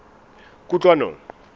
kutlwanong